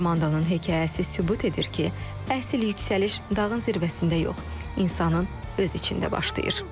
Armandonun hekayəsi sübut edir ki, əsl yüksəliş dağın zirvəsində yox, insanın öz içində başlayır.